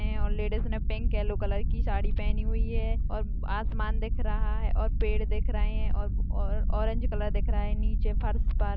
ladies ने pink yellow colour की साड़ी पहनी हुई है और आसमान दिख रहा है और पेड़ दिख रहे है और ऑरेंज कलर दिख रहा है नीचे फर्श पर--